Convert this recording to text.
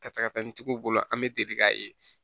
Ka taga n'i tigiw bolo an bɛ deli k'a ye